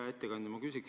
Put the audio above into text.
Hea ettekandja!